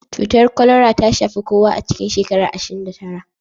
Cutar kwalara ta shafi kowa a cikin shekara ashirin da tara